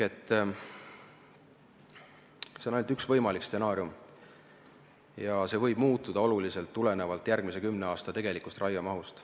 See on ainult üks võimalik stsenaarium ja see võib oluliselt muutuda tulenevalt järgmise kümne aasta tegelikust raiemahust.